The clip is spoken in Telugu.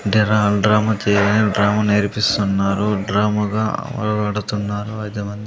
డ్రమ్ము నేర్పిస్తున్నారు డ్రముగ ఐదు మంది--